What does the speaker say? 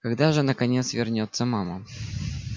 когда же наконец вернётся мама